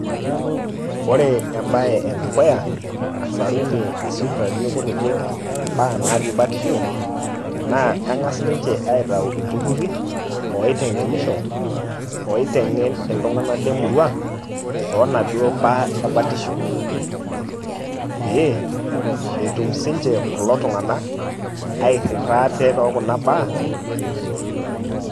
Ore ebae edukuya, nasarunye isipitalini kutitik imbaa natii batisho, naa eng'as ninche aitau ilturrurri oiteng'enisho, oiteng'en iltung'anak le murua tonaduo mbaa ebatisho. Pe, etum sinche kulo tung'anak airrirra ate tokuna baa.